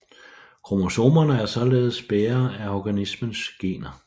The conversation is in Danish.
Kromosomerne er således bærere af organismens gener